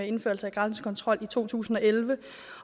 indførelse af grænsekontrol i to tusind og elleve